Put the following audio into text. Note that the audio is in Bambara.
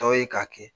Dɔw ye k'a kɛ